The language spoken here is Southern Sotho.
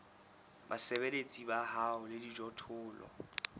basebeletsi ba hao le dijothollo